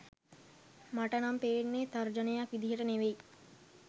මට නම් පේන්නෙ තර්ජනයක් විදියට නෙවෙයි.